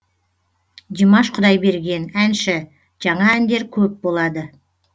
димаш құдайберген әнші жаңа әндер көп болады